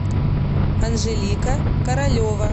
анжелика королева